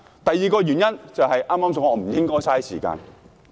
第二個原因就是我剛才說的不應浪費時間。